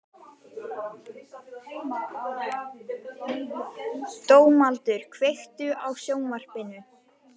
Dómaldur, kveiktu á sjónvarpinu.